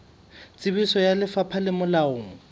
tsebiso ya lefapha le molaong